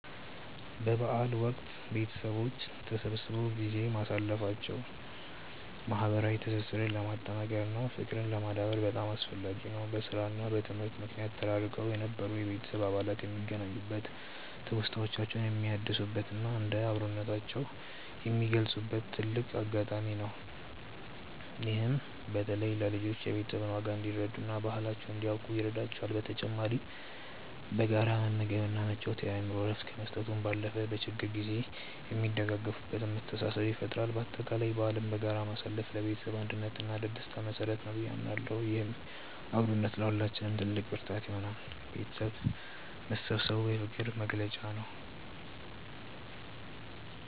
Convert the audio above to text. በበዓል ወቅት ቤተሰቦች ተሰብስበው ጊዜ ማሳለፋቸው ማህበራዊ ትስስርን ለማጠናከር እና ፍቅርን ለማዳበር በጣም አስፈላጊ ነው። በስራ እና በትምህርት ምክንያት ተራርቀው የነበሩ የቤተሰብ አባላት የሚገናኙበት፣ ትውስታዎችን የሚያድሱበት እና አብሮነታቸውን የሚገልጹበት ትልቅ አጋጣሚ ነው። ይህም በተለይ ለልጆች የቤተሰብን ዋጋ እንዲረዱ እና ባህላቸውን እንዲያውቁ ይረዳቸዋል። በተጨማሪም በጋራ መመገብ እና መጫወት የአእምሮ እረፍት ከመስጠቱ ባለፈ፣ በችግር ጊዜ የሚደጋገፉበትን መተሳሰብ ይፈጥራል። በአጠቃላይ በዓልን በጋራ ማሳለፍ ለቤተሰብ አንድነት እና ለደስታ መሰረት ነው ብዬ አምናለሁ። ይህም አብሮነት ለሁላችንም ትልቅ ብርታት ይሆናል። ቤተሰብ መሰባሰቡ የፍቅር መግለጫ ነው።